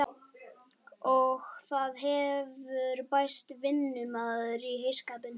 Og það hefur bæst vinnumaður í heyskapinn.